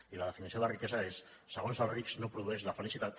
i la definició de riquesa és segons els rics no produeix la felicitat